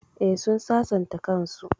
Eh, sun sasanta kan su